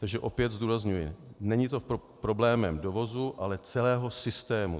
Takže opět zdůrazňuji, není to problémem dovozu, ale celého systému.